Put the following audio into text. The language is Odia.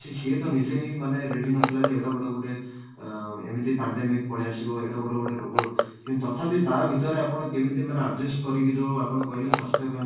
ତ ସିଏ ତ ନିଜେ ହିଁ ମାନେ ready ନଥିଲା ଯେ ଏଡେବଡ ମାନେ ଅଂ ମାନେ ଏମିତି pandemic ପଳେଇଆସିବ ଏଡ଼େ ବଡ ଗୋଟେ ରୋଗ ତଥାପି ତା ଭିତରେ ଆପଣ କେମିତି ମାନେ adjust କରିକି ଯୋଉ ଆପଣ କହିଲେ ସ୍ୱାସ୍ଥ୍ୟ